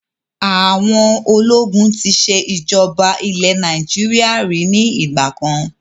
Àwọn ológun tí ṣe ìjọba ilẹ̀ Nàìjíríà ríi ni ìgbàkan